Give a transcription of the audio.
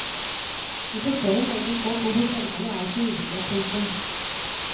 Vi forstår jo meget godt hvorfor selgerne er så ivrige. punktum